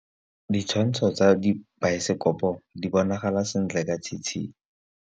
Ditshwantshô tsa biosekopo di bonagala sentle ka tshitshinyô.